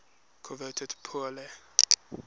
coveted pour le